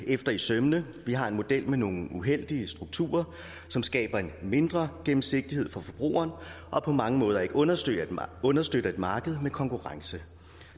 efter i sømmene vi har en model med nogle uheldige strukturer som skaber en mindre gennemsigtighed for forbrugeren og på mange måder ikke understøtter understøtter et marked med konkurrence